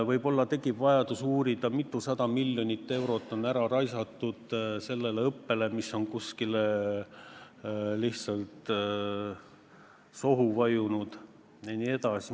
Võib-olla tekib vajadus uurida, mitusada miljonit eurot on ära raisatud sellele õppele – see raha on nagu kuskile sohu vajunud jne.